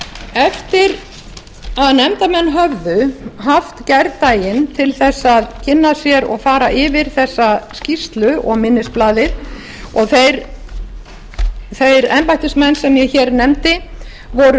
eftir að nefndarmenn höfðu haft gærdaginn til þess að kynna sér og fara yfir þessa skýrslu og minnisblaðið og þeir embættismenn sem ég nefndi voru